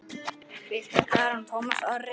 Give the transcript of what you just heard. Birta Karen og Tómas Orri.